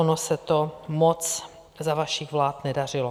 Ono se to moc za vašich vlád nedařilo.